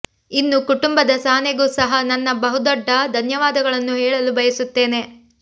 ಇನ್ನು ಕುಟುಂಬದ ಸಹನೆಗೂ ಸಹ ನನ್ನ ಬಹುದೊಡ್ಡ ಧನ್ಯವಾದಗಳನ್ನು ಹೇಳಲು ಬಯಸುತ್ತೇನೆ